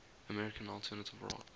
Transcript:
american alternative rock